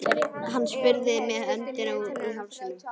Hann spurði með öndina í hálsinum.